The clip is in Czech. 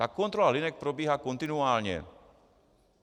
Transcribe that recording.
Ta kontrola linek probíhá kontinuálně.